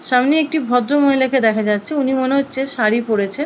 সামনে একটি ভদ্র মহিলাকে দেখা যাচ্ছে উনি মনে হচ্ছে শাড়ী পড়েছেন।